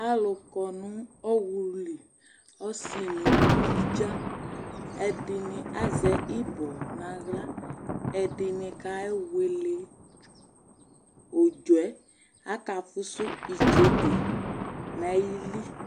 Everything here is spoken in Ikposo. Alʊ kɔnʊ ɔwlʊlɩ ɔsɩ nʊ ʊlʊvɩdza ɛdɩnɩ azɛ ɩbɔ nʊ aɣla ɛdɩnɩ kewele ʊdzɔɛ aka fʊsʊ itsede nʊ ayɩlɩ